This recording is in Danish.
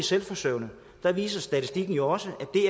selvforsørgende viser statistikken jo også at det